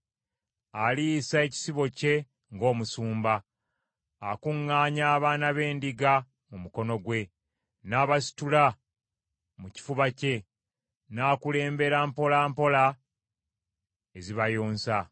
Aliisa ekisibo kye ng’omusumba, akuŋŋaanya abaana b’endiga mu mukono gwe n’abasitula mu kifuba kye, n’akulembera mpola mpola ezibayonsa.